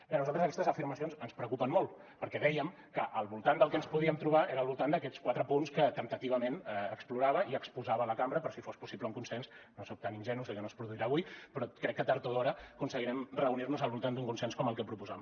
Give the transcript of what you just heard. bé a nosaltres aquestes afirmacions ens preocupen molt perquè vèiem que al voltant del que ens podíem trobar era al voltant d’aquests quatre punts que temptativament explorava i exposava a la cambra per si fos possible un consens no soc tan ingenu sé que no es produirà avui però crec que tard o d’hora aconseguirem reunir nos al voltant d’un consens com el que proposàvem